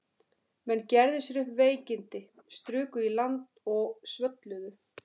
Menn gerðu sér upp veikindi, struku í land og svölluðu.